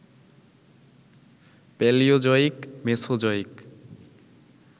Palaeozoic, Mesozoic